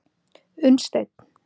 Unnsteinn